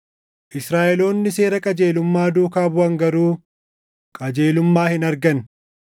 Israaʼeloonni seera qajeelummaa duukaa buʼan garuu qajeelummaa hin arganne.